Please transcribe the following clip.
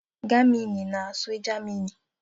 Germini na-asụ Germani